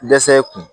Dɛsɛ kun